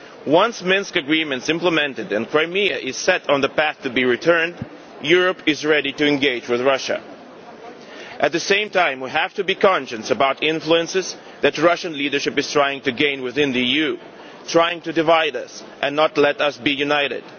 first. Once the Minsk Agreement is implemented and Crimea is set on the path to be returned, Europe will be ready to engage with Russia. At the same time we have to be conscious about the influence that the Russian leadership is trying to gain within the EU, trying to divide us and not let us be